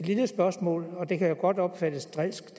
lille spørgsmål det kan jo godt opfattes drilsk